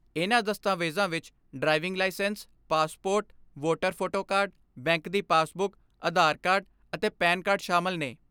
ਇਨ੍ਹਾਂ ਦਸਤਾਵੇਜਾਂ ਵਿੱਚ driving licence, passport, voter photo card, bank ਦੀ ਪਾਸਬੁਕ, ਅਧਾਰ ਕਾਰਡ ਅਤੇ ਪੈਨ ਕਾਰਡ ਸ਼ਾਮਲ ਨੇ।